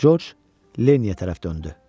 Corc Lenniyə tərəf döndü.